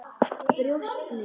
Brjóst mín.